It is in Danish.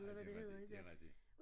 Ej det jo rigtigt det rigtigt